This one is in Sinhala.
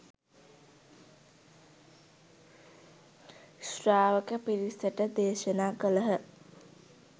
ශ්‍රාවක පිරිසට දේශනා කළහ.